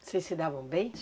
Vocês se davam bem?